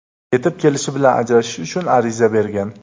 Yetib kelishi bilan ajrashish uchun ariza bergan.